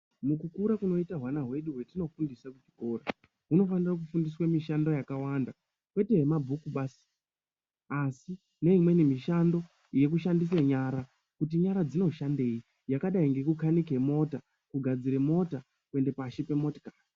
Mukukura kunoite hwana hwedu hwatinofundise kuchikora hunofanire kufundiswa mishando yakawanda kwete yemabhuku basi asi neimweni mishando yekushandisa nyara kuti nyara dzinoshandeibyakadai ngekukanike mota, kugadzire mota , kuende pashi pemotikari.